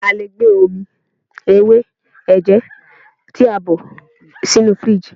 A lè gbé omi ewé ẹ̀jẹ̀ tí a bọ̀ ṣínu fìrígì.